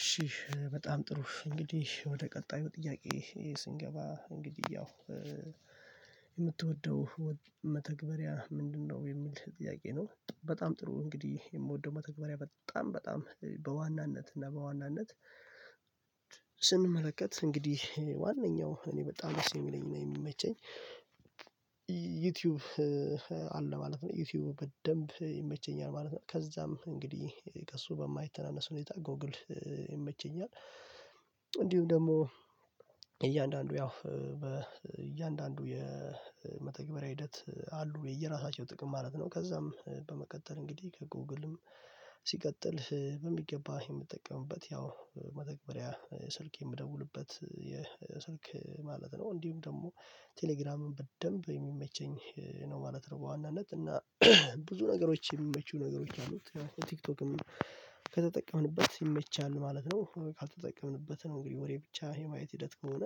እሺ በጣም ጥሩ እንግዲህ ወደ ቀጣዩ ጥያቄ ስንገባ እንግዲህ ያው የምትወደው መተግበሪያ ምንድነው የሚል ጥያቄ ነው? በጣም ጥሩ እንግዲህ የምወደው መተግበሪያ በጣም በጣም በዋናነት እና በዋናነት ስንመለከት እንግዲህ ዋናው እኔ በጣም ደስ የሚለኝ የሚመቸኝ ዩቲዩብ አለ ማለት ነው ዩቲዩብ በደንብ ይመቸኛል ማለት ነው። ከዛም እንግዲህ ከእሱ በማይተናነስ ሁኔታ ጎግል ይመቸኛል። እንዲሁም ደግሞ እያንዳንዱ ያው በእያንዳንዱ የመተግበሪያ ሂደት አሉ የየራሳቸው ጥቅም ማለት ነው። ከዛም በመቀጠል እንግዲህ ጎግልም ሲቀጥል በሚገባ የምትጠቀምበት ያው መተግበሪያ ስልክ የምደውልበት የስልክ ማለት ነው። እንዲሁም ደግሞ ቴሌግራምን በደንብ የሚመቸኝ ነው ማለት ነው። በዋናነት እና ብዙ ነገሮች የሚመቹ ነገሮች አሉት ቲክቶክም ከተጠቀምንበት ይመቻል ማለት ነው። ካልተጠቀምንበት ነው እንግዲህ ወሬ ብቻ የማየት ሂደት ከሆነ